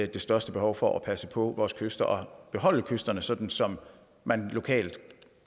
det største behov for at passe på vores kyster og beholde kysterne sådan som man lokalt